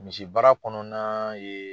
Misi baara kɔnɔna ye